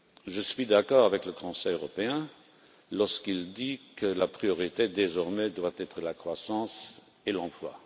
Je suis d'accord avec le Conseil européen lorsqu'il dit que la priorité, désormais, doit être la croissance et l'emploi.